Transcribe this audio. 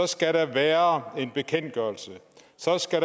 skal der være en bekendtgørelse så skal